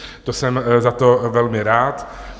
To jsem za to velmi rád.